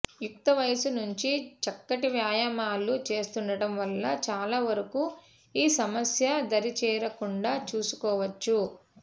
యుక్తవయసు నుంచీ చక్కటి వ్యాయామాలు చేస్తుండటం వల్ల చాలా వరకూ ఈ సమస్య దరిజేరకుండా చూసుకోవచ్చు